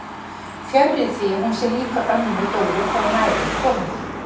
Fjarri því að hún sé lík Önnu Dóru þegar nær er komið.